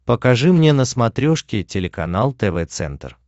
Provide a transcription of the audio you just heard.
покажи мне на смотрешке телеканал тв центр